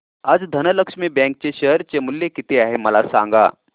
आज धनलक्ष्मी बँक चे शेअर चे मूल्य किती आहे मला सांगा